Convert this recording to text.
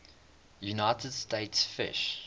united states fish